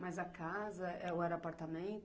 Mas a casa ou era apartamento?